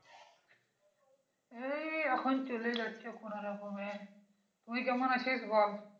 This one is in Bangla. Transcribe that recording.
এই এখন চলে যাচ্ছে কোনো রকমে, তুই কেমন আছিস বল?